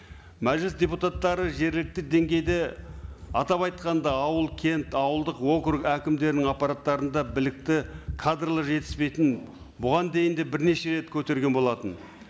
мәжіліс депутаттары жергілікті деңгейде атап айтқанда ауыл кент ауылдық округ әкімдерінің аппараттарында білікті кадрлар жетіспейтінін бұған дейін де бірнеше рт көтерген болатын